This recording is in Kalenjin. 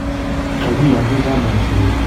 kagiyanji chamaisiek koityikee kura en Kenya